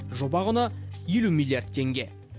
жоба құны елу миллиард теңге